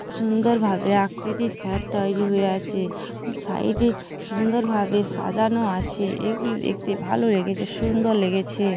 সুন্দর ভাবে আকৃতির ফ্যাট তৈরি হয়ে আছে। সাইড -এ সুন্দর ভাবে সাজানো আছে এগুলি দেখতে ভাল লেগেছে সুন্দর লেগেছে।